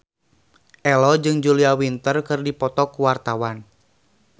Ello jeung Julia Winter keur dipoto ku wartawan